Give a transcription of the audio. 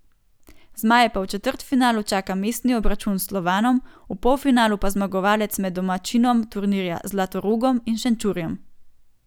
Zmaje pa v četrtfinalu čaka mestni obračun s Slovanom, v polfinalu pa zmagovalec med domačinom turnirja Zlatorogom in Šenčurjem.